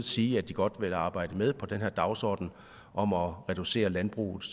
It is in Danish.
sige at de godt vil arbejde med på den her dagsorden om at reducere landbrugets